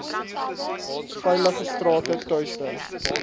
veilige strate tuiste